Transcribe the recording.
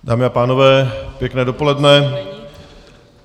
Dámy a pánové, pěkné dopoledne.